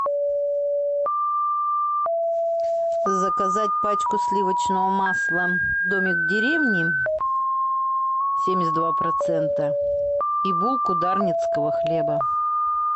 заказать пачку сливочного масла домик в деревне семьдесят два процента и булку дарницкого хлеба